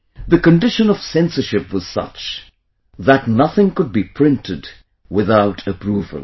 The condition of censorship was such that nothing could be printed without approval